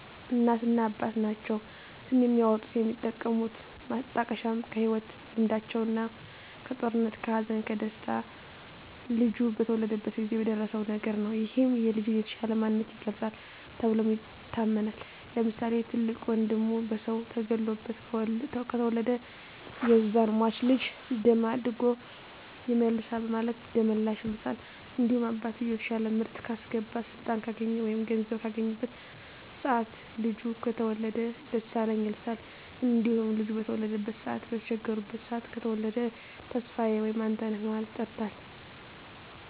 እናትና አባት ናቸዉ ስም የሚያወጡት። የሚጠቀሙት ማጣቀሻም ከህይወት ልምዳቸዉ ነዉ(ከጦርነት ከሀዘን ከደስታ ልጁ በተወለደበት ጊዜ በደረሰዉ ነገር) ነዉ ይህም የልጁን የተሻለ ማንነት ይገልፃል ተብሎም ይታመናል። ለምሳሌ፦ ትልቅ ወንድሙ በሰዉ ተገሎበት ከተወለደ ያዛን ሟች ልጅ ደም አድጎ ይመልሳል በማለት ደመላሽ ይሉታል። እንዲሁም አባትየዉ የተሻለ ምርት ካስገባ ስልጣን ካገኘ ወይም ገንዘብ ካገኘበት ሰአት ልጁ ከተወለደ ደሳለኝ ይሉታል። እንዲሁም ልጁ በተበደሉበት ሰአት በተቸገሩበት ሰአት ከተወለደ ተስፋየ ወይም አንተነህ በማለት ይጠሩታል።